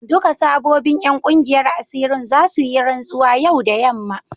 Duka sabobin 'yan kungiyar asirin za su yi rantsuwa yau da yamma.